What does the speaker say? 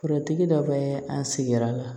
Forotigi dɔ bɛ an sigira